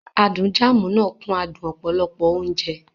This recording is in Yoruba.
Adùn Jam náà kún adùn adùn ọ̀pọ̀lọpọ̀ oúnjẹ.